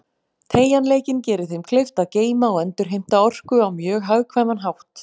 Teygjanleikinn gerir þeim kleift að geyma og endurheimta orku á mjög hagkvæman hátt.